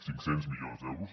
cinc cents milions d’euros